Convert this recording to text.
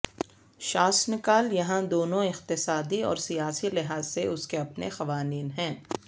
شاسنکال یہاں دونوں اقتصادی اور سیاسی لحاظ سے اس کے اپنے قوانین ہیں